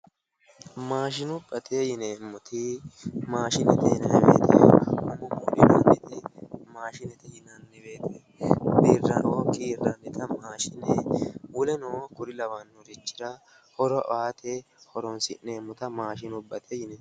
maashinubbate yineemmoti maashinete yineemmo wote birraoo kiirreemmota wole kuri lawannorira horo aate horonsi'neemmota maashinubbate yineemmo.